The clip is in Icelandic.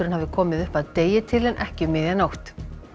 hafi komið upp að degi til en ekki um miðja nótt